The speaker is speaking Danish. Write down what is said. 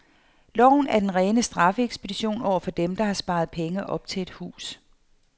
Loven er den rene straffeekspedition over for dem, der har sparet penge op til et hus.